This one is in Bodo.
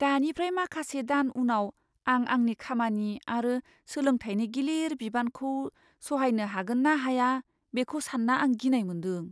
दानिफ्राय माखासे दान उनाव आं आंनि खामानि आरो सोलोंथायनि गिलिर बिबानखौ सहायनो हागोन ना हाया बेखौ सानना आं गिनाय मोन्दों।